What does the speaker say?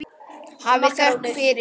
Hafið þökk fyrir.